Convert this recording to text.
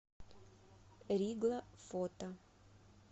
ригла фото